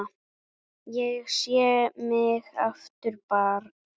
Ég sé mig aftur barn.